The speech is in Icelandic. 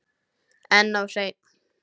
En of seinn.